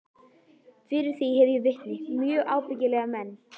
Fyrir því hef ég vitni, mjög ábyggilega menn.